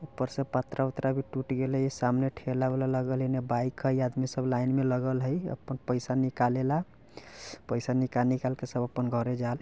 उपर से पत्रा उत्रा भी टूट गेले इ सामने ठेला उला लगवली इन बाईक हई आदमी सब लाईन मे लगल हई। अपन पईसा निकालेला पईसा निकाल निकाल के सब अपन घरे जाल।